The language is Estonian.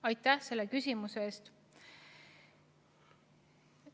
Aitäh selle küsimuse eest!